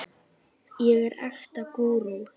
ég er ekta gúrú.